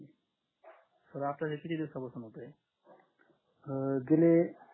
तर आता हे किती दिवसापासून होत हे